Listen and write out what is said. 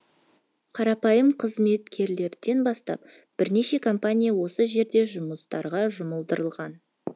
қарапайым қызметкерлерден бастап бірнеше компания осы жердегі жұмыстарға жұмылдырылған